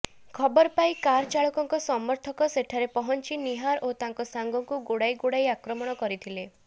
ଖବରପାଇ କାର୍ ଚାଳକଙ୍କ ସମର୍ଥକ ସେଠାରେ ପହଞ୍ଚି ନିହାର ଓ ତାଙ୍କ ସାଙ୍ଗଙ୍କୁ ଗୋଡ଼ାଇ ଗୋଡ଼ାଇ ଆକ୍ରମଣ କରିଥିଲେ